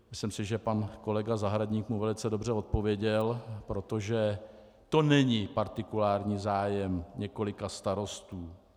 Myslím si, že pan kolega Zahradník mu velice dobře odpověděl, protože to není partikulární zájem několika starostů.